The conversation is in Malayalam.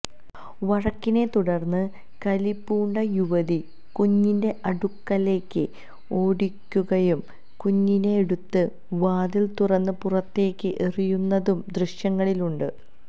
വഴക്കിനെ തുടര്ന്ന് കലിപൂണ്ട യുവതി കുഞ്ഞിന്റെ അടുക്കലേക്ക് ഓടുകയും കുഞ്ഞിനെ എടുത്ത് വാതില് തുറന്ന് പുറത്തേക്ക് എറിയുന്നതും ദൃശ്യങ്ങളിലുണ്ട്